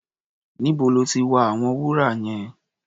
Níbo lọ́ ti wa àwọn wúrà yẹn?